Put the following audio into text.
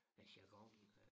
Hvad jargonen øh